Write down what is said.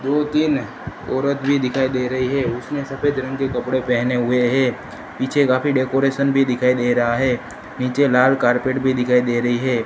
दो तीन औरत भी दिखाई दे रही है उसने सफेद रंग के कपड़े पहने हुए है पीछे काफी डेकोरेशन भी दिखाई दे रहा हैं नीचे लाल कार्पेट भी दिखाई दे रही है।